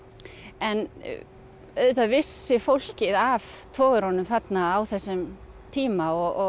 en auðvitað vissi fólkið af togurunum þarna á þessum tíma og